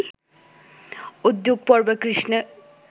উদ্যোগপর্বে কৃষ্ণের